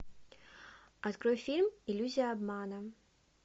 открой фильм иллюзия обмана